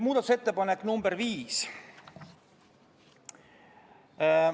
Muudatusettepanek nr 5.